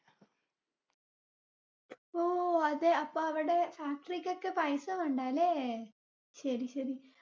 ഓ അതെ. അപ്പൊ അവടെ factory കൊക്കെ പൈസ വേണ്ടാല്ലേ. ശെരിശെരി.